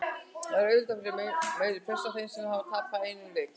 Það er auðvitað meiri pressa á þeim þar sem þeir hafa tapað einum leik.